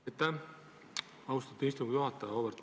Aitäh, austatud istungi juhataja!